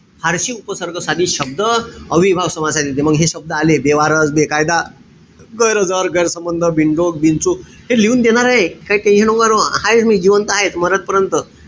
फारशी उपसर्ग साधित शब्द. अव्ययीभाव समास आहे तिथे. म हे शब्द आले. बेवारस, बेकायदा, गैरहजर, गैरसंबंध, बिनडोक, बिनचूक. हे लिहून देणार आहे. काई tension नको करू. हायेच मी जिवंत हायेच मरेपर्यंत.